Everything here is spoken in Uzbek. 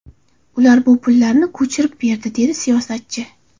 Ular bu pullarni ko‘chirib berdi”, dedi siyosatchi.